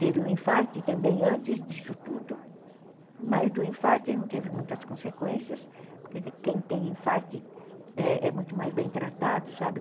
Teve um infarte também antes disso tudo, mas do infarte não teve muitas consequências, porque quem tem infarte é muito mais bem tratado, sabe?